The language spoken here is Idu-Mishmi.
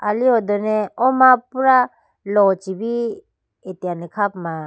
ali hodone oo ma pura lochibi atene kha puma.